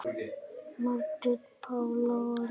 Margrét Pála og Lilja.